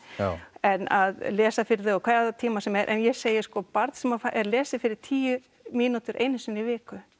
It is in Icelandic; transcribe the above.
en að lesa fyrir þau á hvaða tíma sem er en ég segi sko barn sem er lesið fyrir í tíu mínútur einu sinni í viku